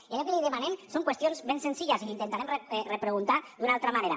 i allò que li demanem són qüestions ben senzilles i l’hi intentarem repreguntar d’una altra manera